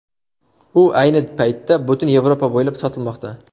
U ayni paytda butun Yevropa bo‘ylab sotilmoqda.